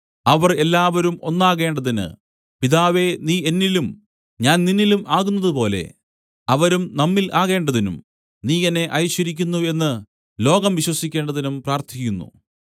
അവർ എല്ലാവരും ഒന്നാകേണ്ടതിന് പിതാവേ നീ എന്നിലും ഞാൻ നിന്നിലും ആകുന്നതുപോലെ അവരും നമ്മിൽ ആകേണ്ടതിനും നീ എന്നെ അയച്ചിരിക്കുന്നു എന്നു ലോകം വിശ്വസിക്കേണ്ടതിനും പ്രാർത്ഥിക്കുന്നു